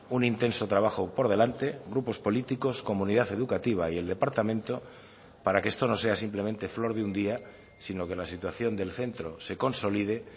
un intenso trabajo por delante grupos políticos comunidad educativa y el departamento para que esto no sea simplemente flor de un día si no que la situación del centro se consolide